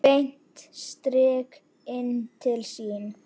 Beint strik inn til sín.